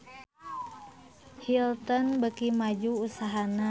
Hilton beuki maju usahana